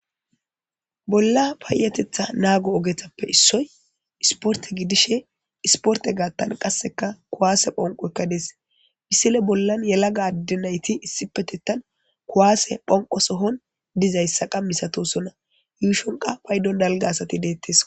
Bolla paayetetha naago ogethappe issoy isporte gidishe isporte gaattan qasseka kuwaase phonqoykka des bisile bollan yelaga addenayti issipetettan kuwaase phonqo sohon dizayssa qa misatosona yuushonqa paydon dalga asati deettes.